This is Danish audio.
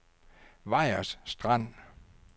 Vejers Strand